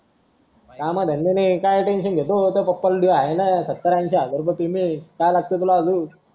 काम धंदे नाही ये काय tension अं घेतो तुझ्या पप्पाना आहे ना सत्तर ऐंशी हजार payment काय लागत तुला अजून